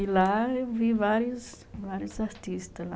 E lá eu vi vários vários artistas lá.